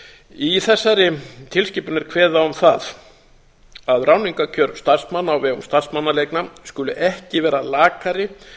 í þessari tilskipun er kveðið á um það að ráðningarkjör starfsmanna á vegum starfsmannaleigna skuli ekki vera lakari